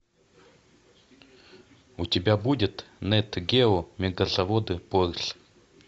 у тебя будет нэт гео мегазаводы порш